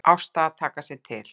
Ásta að taka sig til.